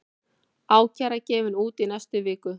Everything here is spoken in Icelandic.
Ákæra gefin út í næstu viku